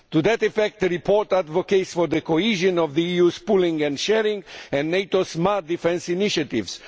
To that effect, the report advocates the cohesion of the EU's pooling and sharing and NATO's smart defence initiatives